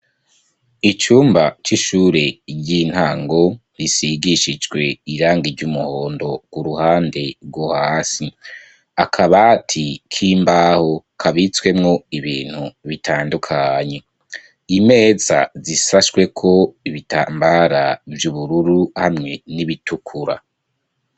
Icumba c'ishure ry'intango risigishijwe iranga ry'umuhondo, uruhande rwo hasi, akabati k'imbaho kabitswemwo ibintu bitandukanye, imeza zisashweko ibitambara vy'ubururu hamwe n'ibitukura.